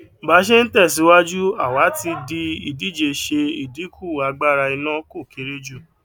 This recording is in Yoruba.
bá ṣe ń tẹsíwájú àwa ti dì ìdíje ṣe ìdínkù agbára iná kó kéré jù